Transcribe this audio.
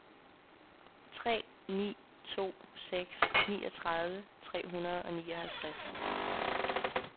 tre ni to seks niogtredive tre hundrede og nioghalvtreds